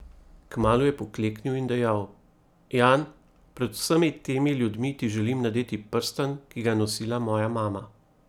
Kmalu je pokleknil in dejal: "Jan, pred vsemi temi ljudmi ti želim nadeti prstan, ki ga je nosila moja mama.